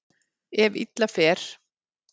Ef illa fer.